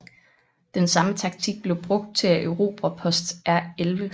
Den samme taktik blev brugt til at erobre Post R11